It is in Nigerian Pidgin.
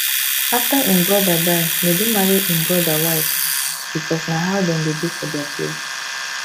after im brother die nedu marry im brother wife because na how dem dey do for dia place